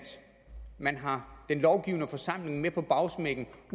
man har den lovgivende forsamling med på bagsmækken